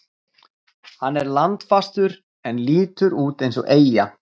Hann er landfastur en lítur út eins og eyja.